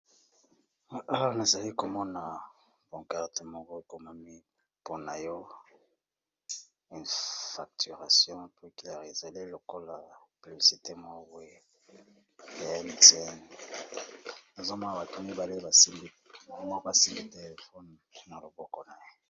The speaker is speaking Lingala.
Awa na zali ko mona pancarte moko ekomami po na yo une facturation plus claire, ezali lokola publicité moko boye ya Mtn, nazo mona bato mibale ba sinbi téléphone na loboko na ye